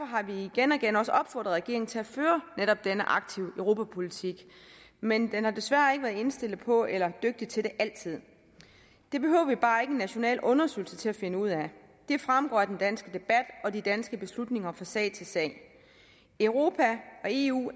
har vi igen og igen også opfordret regeringen til at føre netop den aktive europapolitik men den har desværre ikke været indstillet på det eller dygtig til det altid det behøver vi bare ikke en national undersøgelse til at finde ud af det fremgår af den danske debat og de danske beslutninger fra sag til sag europa og eu